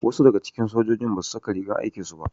Wasu daga cikin sojojin basu saka rigar aikin su ba.